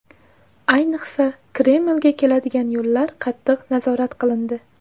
Ayniqsa Kremlga keladigan yo‘llar qattiq nazorat qilindi.